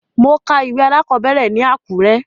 Mo ka ìwé alákọ̀ọ́bẹ̀rẹ̀ ní Àkúrẹ́.